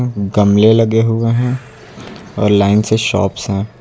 गमले लगे हुए हैं और लाइन से शॉप्स हैं।